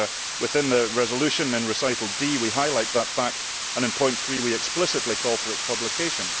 Within the resolution, in Recital D, we highlight that fact and in point 3 we explicitly call for its publication.